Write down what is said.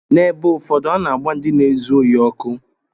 N’ebe ụfọdụ, a na-agba ndị na-ezu ohi ọkụ.